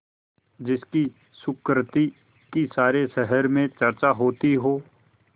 जिसकी सुकृति की सारे शहर में चर्चा होती हो